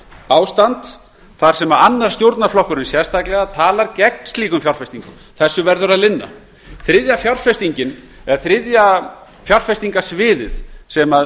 ástand þar sem annar stjórnarflokkurinn sérstaklega talar gegn slíkum fjárfestingum þessu verður að linna þriðja fjárfestingarsvið sem nærtækt er að